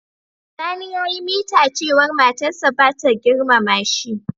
Sani ya yi mita cewa matar sa bata girmama shi.